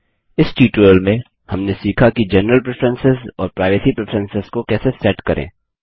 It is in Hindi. इस ट्यूटोरियल में हमने सीखा कि जेनरल प्रेफरेंसेस और प्राइवेसी प्रेफरेंसेस को कैसे सेट करें